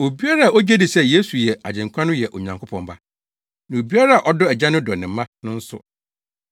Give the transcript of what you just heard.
Obiara a ogye di sɛ Yesu yɛ Agyenkwa no yɛ Onyankopɔn ba. Na obiara a ɔdɔ Agya no dɔ ne mma no nso.